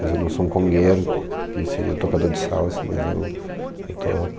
Mas eu não sou um congueiro, que seria tocador de salsa, mas eu, eu toco.